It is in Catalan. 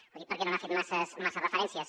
ho dic perquè no hi ha fet masses referències